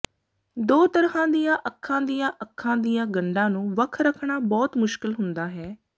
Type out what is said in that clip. ਦੋ ਤਰ੍ਹਾਂ ਦੀਆਂ ਅੱਖਾਂ ਦੀਆਂ ਅੱਖਾਂ ਦੀਆਂ ਗੰਢਾਂ ਨੂੰ ਵੱਖ ਰੱਖਣਾ ਬਹੁਤ ਮੁਸ਼ਕਿਲ ਹੁੰਦਾ ਹੈ